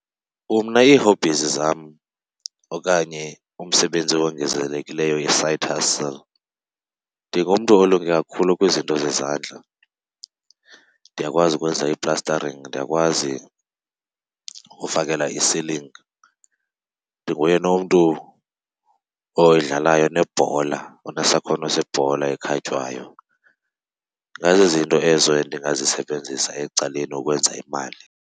Umna ii-hobbies zam okanye umsebenzi owongezelelekileyo, i-side hustle, ndingumntu olunge kakhulu kwizinto zezandla. Ndiyakwazi ukwenza ii-plastering, ndiyakwazi ukufakelela i-ceiling. Ndinguye nomntu oyidlalayo nebhola, onesakhono sebhola ekhatywayo. Ingazizinto ezo endingazisebenzisa ecaleni ukwenza imali.